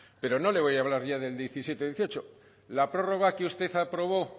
pero no le voy a hablar ya del diecisiete dieciocho la prórroga que usted aprobó